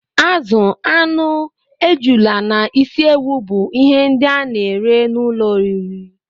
Azụ, anụ, ejula na ịsị ewụ bú ihe ndị a na-ere n'ụlọ oriri